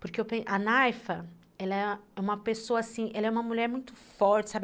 Porque a Naifa, ela é uma pessoa assim, ela é uma mulher muito forte, sabe?